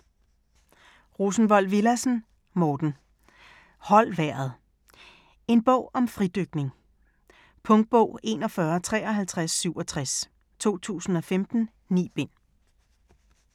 Rosenvold Villadsen, Morten: Hold vejret En bog om fridykning. Punktbog 415367 2015. 9 bind.